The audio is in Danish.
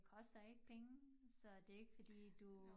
Koster ikke penge så det ikke fordi du